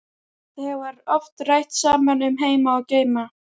Þau hafa oft rætt saman um heima og geima.